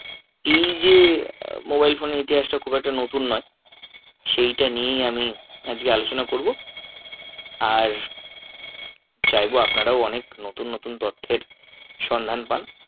এই যে mobile phone এর ইতিহাসটা খুব একটা নতুন নয় সেইটা নিয়েই আমি আজকে আলোচনা করবো আর চাইবো আপনারও অনেক নতুন নতুন তথ্যের সন্ধান পান।